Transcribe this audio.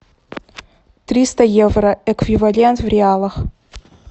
триста евро эквивалент в реалах